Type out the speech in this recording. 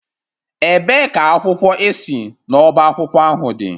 Ebee ka akwụkwọ ị si n'ọba akwụkwọ ahụ dị?